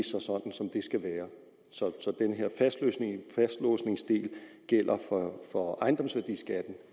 skal være så den her fastlåsningsdel gælder for ejendomsværdiskatten